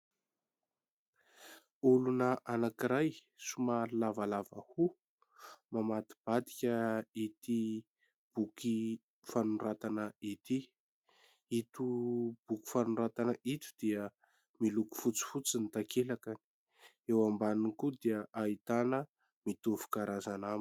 Olona anankiray somary lavalava hoho mamadibadika ity boky fanoratana ity. Ito boky fanoratana ito dia miloko fotsifotsy ny takelakany eo ambaniny koa dia ahitana mitovy karazana aminy.